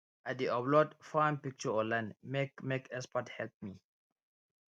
i dey upload farm picture online make make expert help me